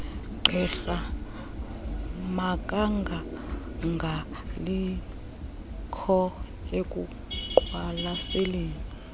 gqirha makangangabikho ekuqwalaselweni